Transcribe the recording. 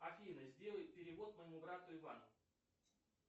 афина сделай перевод моему брату ивану